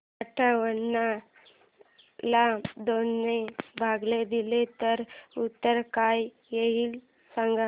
अठावन्न ला दोन ने भाग दिला तर उत्तर काय येईल ते सांगा